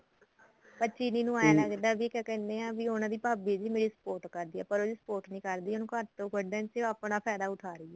ਪਰ ਚਿਰੀ ਨੂੰ ਲੱਗਦਾ ਵੀ ਕਿਆ ਕਹਿਨੇ ਆ ਵੀ ਉਹਨਾ ਦੀ ਭਾਬੀ ਵੀ ਮੇਰੀ support ਕਰਦੀ ਐ ਪਰ ਉਹਦੀ support ਨਹੀਂ ਕਰਦੀ ਉਹਨੂੰ ਘਰ ਚੋ ਕੱਢਣਾ ਤੇ ਆਪਣਾ ਫਾਇਦਾ ਉਠਾ ਰਹੀ ਐ